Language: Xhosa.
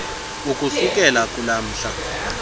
ukusukela kulaa mhla